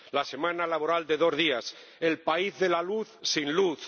la semana laboral de dos días el país de la luz, sin luz